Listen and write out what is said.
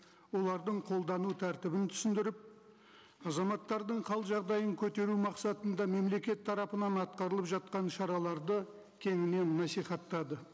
олардың қолдану тәртібін түсіндіріп азаматтардың қал жағдайын көтеру мақсатында мемлекет тарапынан атқарылып жатқан шараларды кеңінен насихаттады